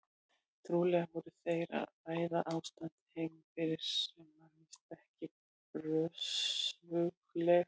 Trúlega voru þeir að ræða ástandið heima fyrir sem var víst ekki björgulegt.